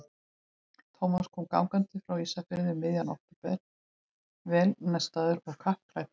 Thomas kom gangandi frá Ísafirði um miðjan október, vel nestaður og kappklæddur.